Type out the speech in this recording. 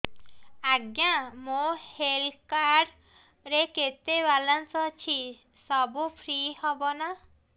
ଆଜ୍ଞା ମୋ health card ରେ କେତେ ବାଲାନ୍ସ ଅଛି ସବୁ ଫ୍ରି ହବ ନାଁ